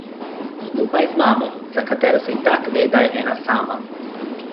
Skupaj z mamo, za katero se itak ve, da je ena sama.